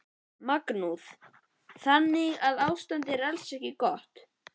Magnús: Þannig að ástandið er alls ekki gott?